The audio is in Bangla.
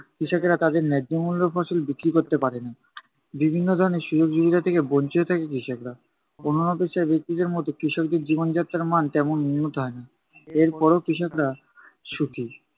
কৃষকেরা তাদের ন্যায্য মূল্যর ফসল বিক্রি করতে পারে না। বিভিন্ন ধরনের সুযোগ সুবিধা থেকে বঞ্চিত থাকে কৃষকরা। অন্যান্য পেশার ব্যক্তিদের মতো কৃষকদের জীবনযাত্রার মান তেমন উন্নত হয় না। এর পরেও কৃষকরা সুখী।